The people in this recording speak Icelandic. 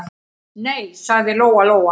Nei, sagði Lóa-Lóa.